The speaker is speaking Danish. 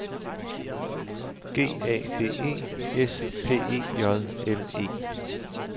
G A D E S P E J L E